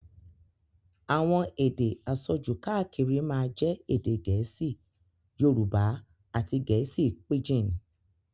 Àwọn èdè àsọjù káàkiri máa jẹ́ èdè gẹ̀ẹ́sì, Yorùbá àti gẹ̀ẹ́sì píjìn.